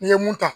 N'i ye mun ta